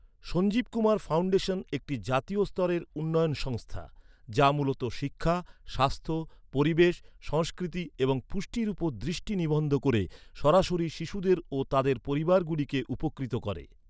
Sanjeev Kumar foundation একটি জাতীয় স্তরের উন্নয়ন সংস্থা, যা মূলত শিক্ষা, স্বাস্থ্য, পরিবেশ, সংস্কৃতি এবং পুষ্টির উপর দৃষ্টি নিবদ্ধ করে সরাসরি শিশুদের ও তাদের পরিবারগুলিকে উপকৃত করে।